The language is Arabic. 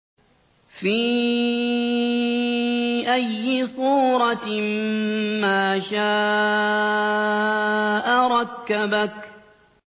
فِي أَيِّ صُورَةٍ مَّا شَاءَ رَكَّبَكَ